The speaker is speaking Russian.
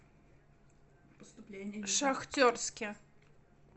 шахтерске